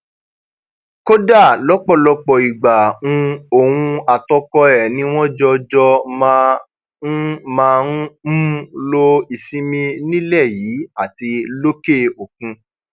kódà lọpọlọpọ ìgbà um òun àtọkọ ẹ ni wọn jọjọ máa ń máa ń um lo ìsinmi nílẹ yìí àti lókè òkun